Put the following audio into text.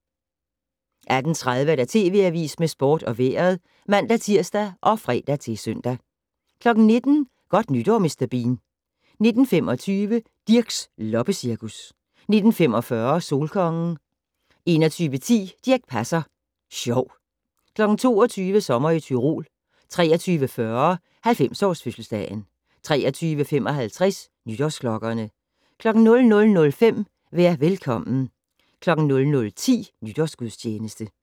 18:30: TV Avisen med sport og vejret (man-tir og fre-søn) 19:00: Godt nytår Mr. Bean 19:25: Dirchs loppecirkus 19:45: Solkongen 21:10: Dirch Passer Sjov 22:00: Sommer i Tyrol 23:40: 90-års-fødselsdagen 23:55: Nytårsklokkerne 00:05: Vær velkommen 00:10: Nytårsgudstjeneste